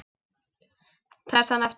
Pressan aftur.